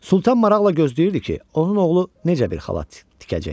Sultan maraqla gözləyirdi ki, onun oğlu necə bir xalat tikəcək.